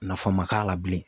Nafa ma k'a la bilen